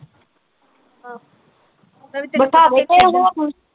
ਹਾਂ